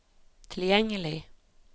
tilgjengelig